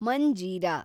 Manjira